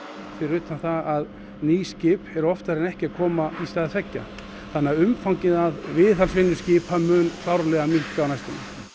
fyrir utan það að ný skip eru oftar en ekki að koma í stað tveggja þannig að umfangið af viðhaldsvinnu skipa mun klárlega minnka á næstunni